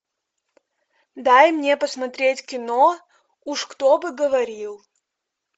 дай мне посмотреть кино уж кто бы говорил